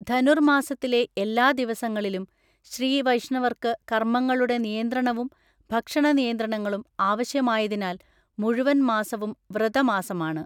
ധനുർമാസത്തിലെ എല്ലാ ദിവസങ്ങളിലും ശ്രീ വൈഷ്ണവർക്ക് കർമ്മങ്ങളുടെ നിയന്ത്രണവും ഭക്ഷണ നിയന്ത്രണങ്ങളും ആവശ്യമായതിനാൽ മുഴുവൻ മാസവും വ്രതമാസമാണ്.